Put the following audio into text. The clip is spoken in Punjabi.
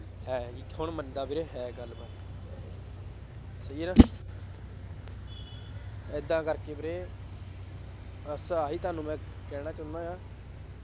ਹੈ ਬਈ ਕੌਣ ਮੰਨਦਾ ਵੀਰੇ ਹੈ ਗੱਲਬਾਤ ਸਹੀ ਹੈ ਨਾ ਏਦਾਂ ਕਰਕੇ ਵੀਰੇ ਬੱਸ ਆਹੀ ਤੁਹਾਨੂੰ ਮੈਂ ਕਹਿਣਾ ਚਾਹੁੰਦਾ ਹਾਂ।